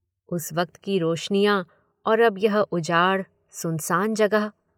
उस वक्त की रोशनियाँ और अब यह उजाड़, सुनसान जगह।